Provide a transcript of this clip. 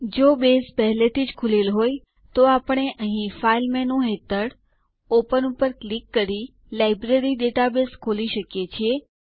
જો બેઝ પહેલાથી જ ખૂલેલ હોય તો આપણે અહીં ફાઇલ મેનૂ હેઠળ ઓપન ક્લિક કરીને લાઇબ્રેરી ડેટાબેઝ ખોલી શકીએ છીએ